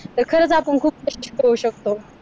तर खरच आपण खूप होऊ शकतो.